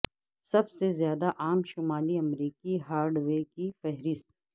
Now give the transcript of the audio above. سب سے زیادہ عام شمالی امریکی ہارڈ وے کی فہرست